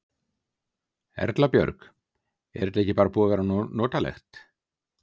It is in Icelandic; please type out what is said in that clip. Erla Björg: Er þetta ekki bara búið að vera notalegt?